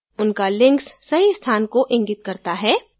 उनका links सही स्थान को इंगित करता है